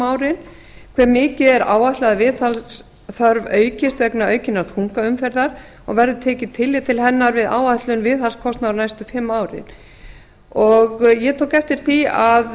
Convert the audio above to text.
árin þriðja hve mikið er áætlað að viðhaldsþörf aukist vegna aukinnar þungaumferðar verður tekið tillit til hennar við áætlun viðhaldskostnaðar næstu fimm árin ég tók eftir því að